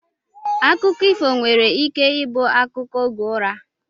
Akụkọ ifo nwere ike ibu akụkọ oge ụra